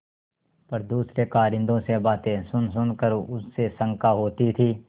पर दूसरे कारिंदों से बातें सुनसुन कर उसे शंका होती थी